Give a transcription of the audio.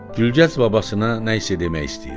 Gülgəz babasına nəsə demək istəyirdi.